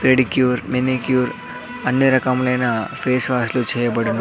Pedicure manicure అన్నీ రకములైన face wash లు చేయబడును.